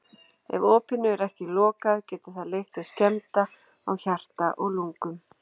Ef opinu er ekki lokað getur það leitt til skemmda á hjarta og lungum.